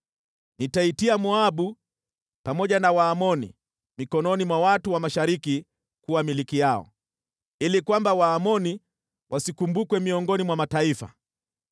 Nitaitia Moabu pamoja na Waamoni mikononi mwa watu wa Mashariki kuwa milki yao, ili kwamba Waamoni wasikumbukwe miongoni mwa mataifa,